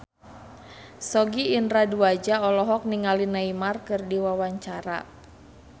Sogi Indra Duaja olohok ningali Neymar keur diwawancara